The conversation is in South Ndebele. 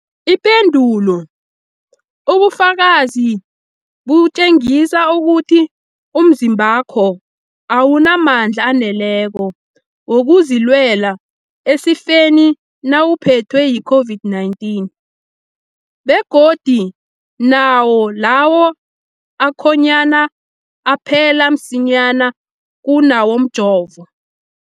Ipendulo, ubufakazi butjengisa ukuthi umzimbakho awunamandla aneleko wokuzilwela esifeni nawuphethwe yi-COVID-19, begodu nawo lawo akhonyana aphela msinyana kunawomjovo.